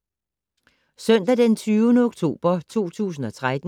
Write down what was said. Søndag d. 20. oktober 2013